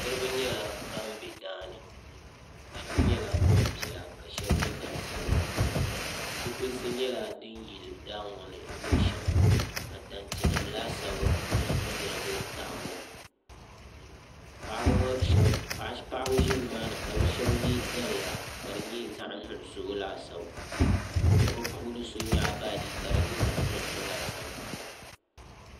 niraba nyɛla ban bɛ daani shab nyɛla gbanpiɛla ka shab nyɛ gbansabila zipilisi nyɛla din yili daa ŋo ni luɣu shɛŋa ka tanti nim laasabu yɛrigi daa ŋo ni paɣaba ʒi nimaani ka bi shab yɛ daliya ka di nyɛ zaɣ nuɣso laasabu ka bi puuni so nyaɣa baaji ka di nyɛ zaɣ nuɣso laasabu